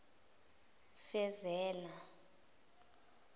fezela